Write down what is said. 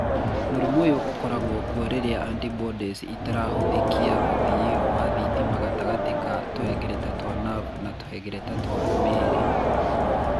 Mũrimũ ũyũ ũkoragwo kuo rĩrĩa antibodies ĩgathũkia ũthii wa thitima gatagatĩ ka tũhengereta twa nerve na tũhengereta twa mĩĩrĩ.